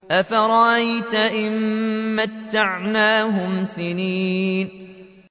أَفَرَأَيْتَ إِن مَّتَّعْنَاهُمْ سِنِينَ